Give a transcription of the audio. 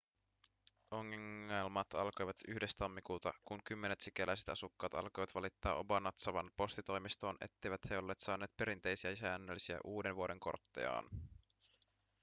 ongelmat alkoivat 1 tammikuuta kun kymmenet sikäläiset asukkaat alkoivat valittaa obanazawan postitoimistoon etteivät he olleet saaneet perinteisiä ja säännöllisiä uudenvuodenkorttejaan